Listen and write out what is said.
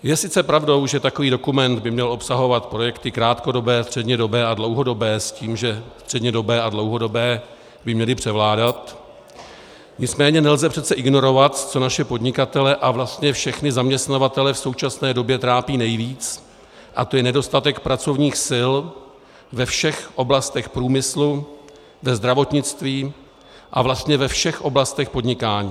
Je sice pravdou, že takový dokument by měl obsahovat projekty krátkodobé, střednědobé a dlouhodobé s tím, že střednědobé a dlouhodobé by měly převládat, nicméně nelze přece ignorovat, co naše podnikatele a vlastně všechny zaměstnavatele v současné době trápí nejvíc, a to je nedostatek pracovních sil ve všech oblastech průmyslu, ve zdravotnictví a vlastně ve všech oblastech podnikání.